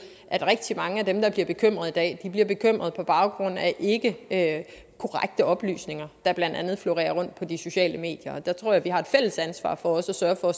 at rigtig mange af dem der bliver bekymrede i dag bliver bekymrede på baggrund af af ikkekorrekte oplysninger der blandt andet florerer på de sociale medier der tror jeg vi har et fælles ansvar for at sørge for